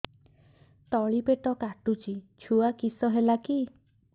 ତଳିପେଟ କାଟୁଚି ଛୁଆ କିଶ ହେଲା କି